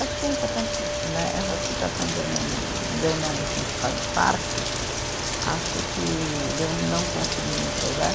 Acho que é importante, né, essa citação de eu não, de eu não me sentir parte, acho que de eu não conseguir me entrosar.